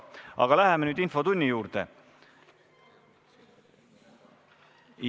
Aga läheme nüüd infotunni juurde!